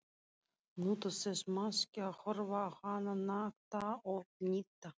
Nutu þess máske að horfa á hana nakta og hýdda.